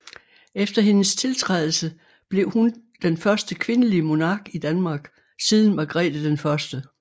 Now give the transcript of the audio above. Efter hendes tiltrædelse blev hun den første kvindelige monark i Danmark siden Margrete 1